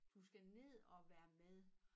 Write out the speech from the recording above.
Du skal ned og være med